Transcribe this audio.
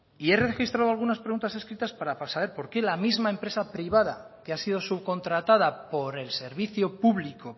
y he registrado algunas preguntas escritas para saber por qué la misma empresa privada que ha sido subcontratada por el servicio público